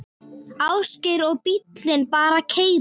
Ásgeir: Og bíllinn bara keyrir?